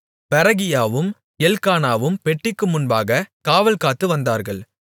பெரகியாவும் எல்க்கானாவும் பெட்டிக்கு முன்பாகக் காவல்காத்துவந்தார்கள்